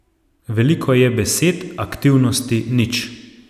Veliko je besed, aktivnosti nič.